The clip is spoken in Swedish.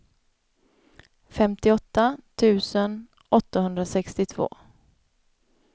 femtioåtta tusen åttahundrasextiotvå